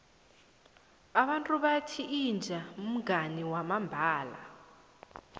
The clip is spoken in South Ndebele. abantu bathi inja mngani wamambala